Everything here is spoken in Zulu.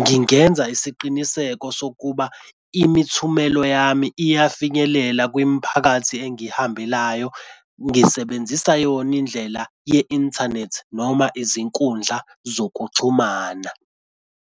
Ngingenza isiqiniseko sokuba imithumelo yami iyafinyelela kwimiphakathi engihambelayo ngisebenzisa yona indlela ye-inthanethi noma izinkundla zokuxhumana.